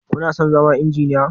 Kuna son zama Injiniya?